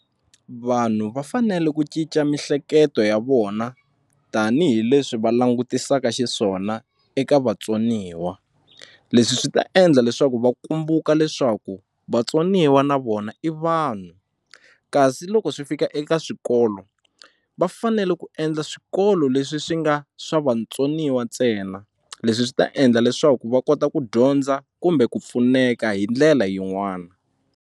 Vanhu va fanele ku cinca mihleketo ya vona tanihileswi va langutisaka xiswona eka vatsoniwa leswi swi ta endla leswaku va kumbuka leswaku vatsoniwa na vona i vanhu kasi loko swi fika eka swikolo va fanele ku endla swikolo leswi swi nga swa vatsoniwa ntsena leswi swi ta endla leswaku va kota ku dyondza kumbe ku pfuneka hi ndlela yin'wana.